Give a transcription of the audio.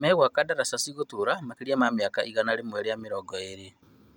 Magwaka ndaraca cigũtũra makĩria ma mĩaka igana rĩa mĩrongo ĩĩrĩ